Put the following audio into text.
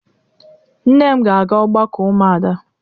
Nne m ga-aga ọgbakọ ụmụada.